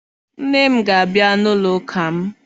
Nne m ga-abịa n'ụlọụka m